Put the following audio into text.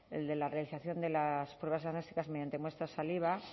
el de la realización de las pruebas diagnósticas mediante muestra saliva